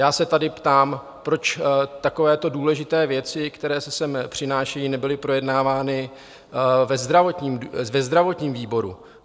Já se tady ptám, proč takovéto důležité věci, které se sem přinášejí, nebyly projednávány ve zdravotním výboru?